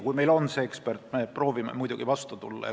Kui meil on see ekspert ja finantsid, siis me proovime muidugi vastu tulla.